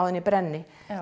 en ég brenni